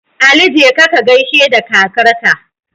Ali jeka kagaishe da kakar ka